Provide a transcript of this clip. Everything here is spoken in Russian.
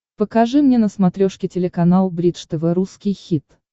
покажи мне на смотрешке телеканал бридж тв русский хит